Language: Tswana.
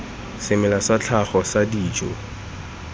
semela sa tlhago sa dijo